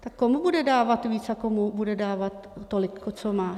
Tak komu bude dávat víc a komu bude dávat tolik, co má?